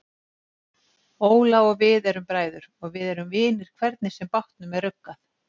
Óla og við erum bræður og við erum vinir hvernig sem bátnum er ruggað.